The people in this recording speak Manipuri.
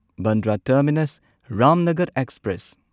Bandra terminus Ramnagar express